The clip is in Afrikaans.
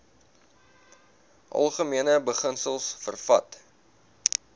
algemene beginsels vervat